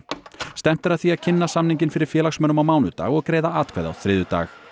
stefnt er að því að kynna samninginn fyrir félagsmönnum á mánudag og greiða atkvæði á þriðjudag